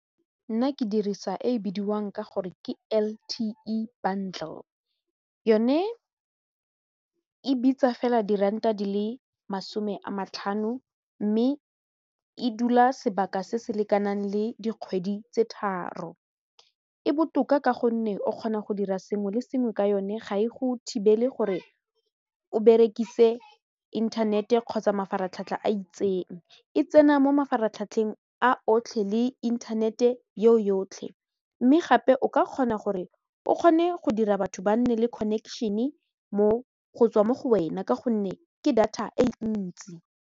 Nna ke dirisa e bidiwang ka gore ke L_T_E bundle yone e bitsa fela diranta di le masome a matlhano mme e dula sebaka se se lekanang le dikgwedi tse tharo e botoka ka gonne o kgona go dira sengwe le sengwe ka yone ga e go thibele gore o berekise inthanete kgotsa mafaratlhatlha a itseng e tsena mo mafaratlhatlheng a otlhe le inthanete yo yotlhe mme gape o ka kgona gore o kgone go dira batho ba nne le connection-e go tswa mo go wena ka gonne ke data e ntsi.